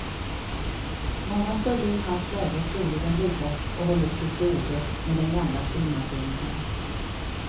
Många skulle i hans läge troligen ryggat och hållit till godo med den gamla skrivmaskinen.